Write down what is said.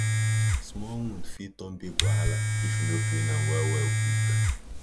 small wound fit turn big wahala if you no clean am well well quick